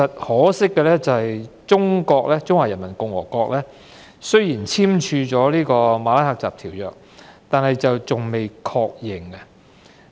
可惜的是，中華人民共和國雖已簽署《馬拉喀什條約》，但尚待確認批准。